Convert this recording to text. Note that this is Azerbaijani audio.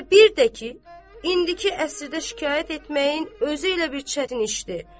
Və bir də ki, indiki əsrdə şikayət etməyin özü elə bir çətin işdir.